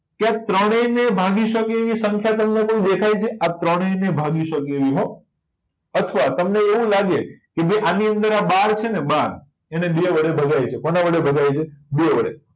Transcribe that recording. કે ત્રણેય ને ભાગી સકે એવી સંખ્યા તમને કઈ દેખાય છે આ ત્રણેય ને ભાગી શકે એવી હો અથવા તમને એવું લાગે કે જે આં બાર છે ને બાર એને બે વડે ભગાય છે કોના વડે બે વડે